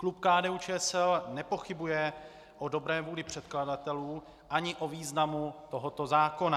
Klub KDU-ČSL nepochybuje o dobré vůli předkladatelů ani o významu tohoto zákona.